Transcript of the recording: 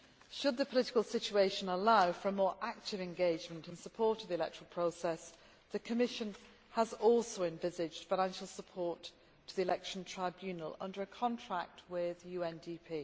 Should the political situation allow for more active engagement in support of the electoral process, the Commission has also envisaged financial support to the election tribunal under a contract with UNDP.